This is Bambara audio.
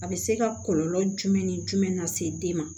A bɛ se ka kɔlɔlɔ jumɛn ni jumɛn lase den ma